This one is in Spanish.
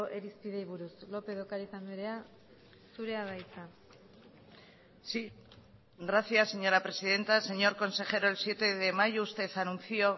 irizpideei buruz lópez de ocariz andrea zurea da hitza sí gracias señora presidenta señor consejero el siete de mayo usted anunció